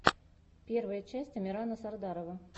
первая часть амирана сардарова